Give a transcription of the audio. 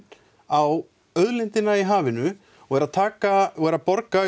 á auðlindina í hafinu og er að taka jú er að borga